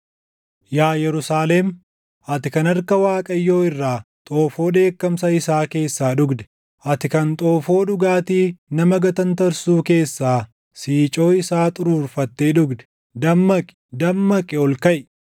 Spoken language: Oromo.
Yaa Yerusaalem, ati kan harka Waaqayyoo irraa, xoofoo dheekkamsa isaa keessaa dhugde, ati kan xoofoo dhugaatii nama gatantarsuu keessaa siicoo isaa xuruurfattee dhugde, dammaqi, dammaqi! Ol kaʼi.